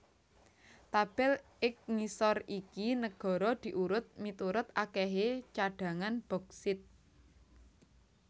Tabel ig ngisor iki negara diurut miturut akèhé cadhangan boksit